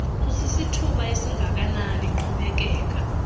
kusisithuba esingakanani iqhubekeka